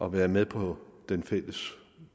at være med på den fælles